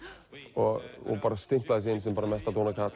og stimplaði sig inn sem mesta